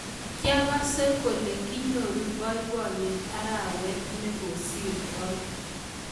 kyagase kole kinyoru boiboiyet arawet nigosirtoi